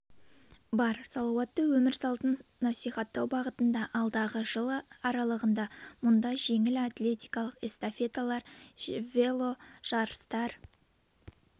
бар салауатты өмір салтын насихаттау бағытында алдағы жыл аралығында мұнда жеңіл атлетикалық эстафеталар жело жарыстар